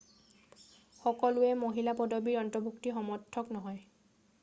সকলোৱেই মহিলা পদবীৰ অন্তৰ্ভুক্তিৰ সমৰ্থক নহয়